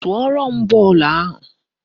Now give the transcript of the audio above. Tụọrọ m bọọlụ ahụ!